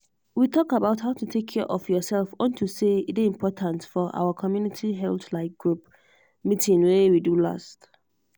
we talk about how to take care of yourself unto say e dey important for our community health like group meeeting wey we do last